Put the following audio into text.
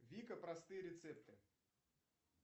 вика простые рецепты